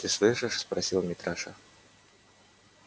ты слышишь спросил митраша